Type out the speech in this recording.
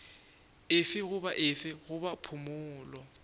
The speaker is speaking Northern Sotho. efe goba efe goba phumolo